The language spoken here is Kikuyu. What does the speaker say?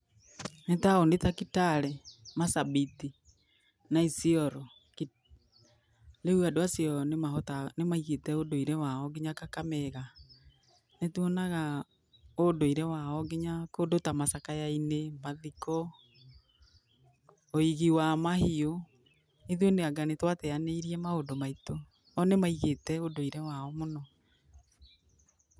Nĩ taũni ta Kitale, Marsabit na Isiolo, rĩu andũ acio nĩ maigĩte ũndũire wao nginya Kakamega, nĩ tuonaga ũndũire wao nginya kũndũ ta macakayainĩ, mathiko, ũigi wa mahiũ, ithuĩ anga nĩ twateyanĩirie maũndũ maitũ, oo nĩ maigĩte ũndũire wao mũno.